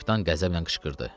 Kapitan qəzəblə qışqırdı.